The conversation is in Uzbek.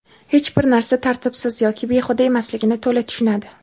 hech bir narsa tartibsiz yoki behuda emasligini to‘la tushunadi.